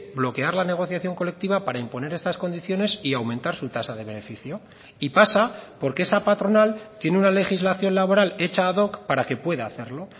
bloquear la negociación colectiva para imponer estas condiciones y aumentar su tasa de beneficio y pasa porque esa patronal tiene una legislación laboral hecha ad hoc para que pueda hacerlo